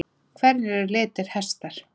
Hverjir eru litir hesta?